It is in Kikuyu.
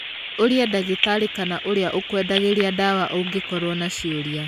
Ũria ndagĩtarĩ kana ũrĩa ũkwendagĩria ndawa ũngĩkorwo na ciuria.